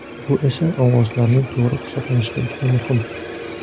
Bu esa ovozlarning to‘g‘ri hisoblanishida juda muhim.